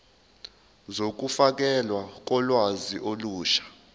zokufakelwa kolwazi olusha